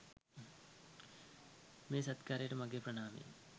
මේ සත්කාරයට මගේ ප්‍රණාමය.